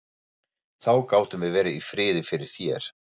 Þá gátum við verið í friði fyrir þér!